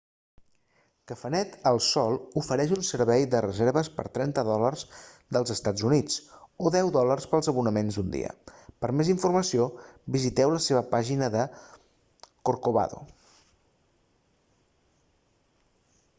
cafenet el sol ofereix un servei de reserves per 30 dòlars dels eua o 10 dòlars pels abonaments d'un dia per a més informació visiteu la seva pàgina de corcovado